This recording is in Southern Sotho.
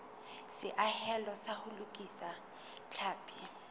seahelo sa ho lokisa tlhapi